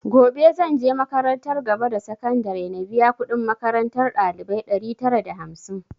Gobe zanje makarantar gaba da sakandare na biya kudin makarantar ɗalibai ɗari tara da hamsin